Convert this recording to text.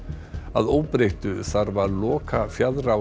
að óbreyttu þarf að loka